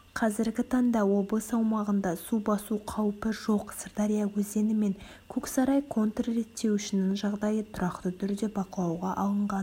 қазіргі таңда облыс аумағында су басу қаупі жоқ сырдария өзені мен көксарай контр реттеуішінің жағдайы тұрақты түрде бақылауға алынған